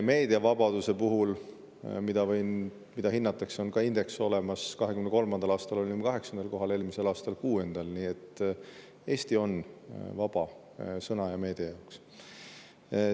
Meediavabaduse puhul, mida hinnatakse, on ka indeks olemas, 2023. aastal me olime kaheksandal kohal, eelmisel aastal kuuendal, nii et Eestis on vaba sõna ja meedia.